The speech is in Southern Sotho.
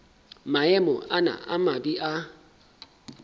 maemo ana a mabe a